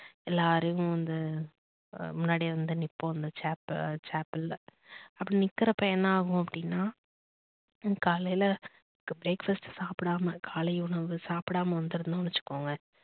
எல்லாருமே வந்து முன்னாடி வந்து நிப்போம் chapal ல அந்த அப்படி நிக்கிறப்ப என்ன ஆகும் அப்படின்னா காலையி breakfast சாப்பிடாம காலை உணவு சாப்பிடாம வந்து இருந்தோம்னு வச்சுக்கோங்க